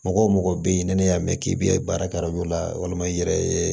Mɔgɔ mɔgɔ bɛ ye ni ne y'a mɛn k'i bɛ baara kɛ yɔrɔ dɔ la walima i yɛrɛ ye